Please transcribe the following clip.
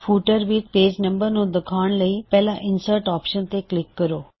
footer ਵਿੱਚ page number ਨੂੰ ਦਿਖਾਉਣ ਲਈ ਪਹਿਲਾਂ ਇਨਸਰਟ ਆਪਸ਼ਨ ਤੇ ਕਲਿੱਕ ਕਰੋ